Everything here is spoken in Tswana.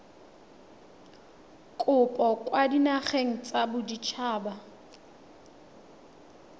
kopo kwa dinageng tsa baditshaba